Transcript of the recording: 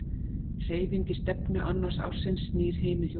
Hreyfing í stefnu annars ássins snýr hinu hjólinu.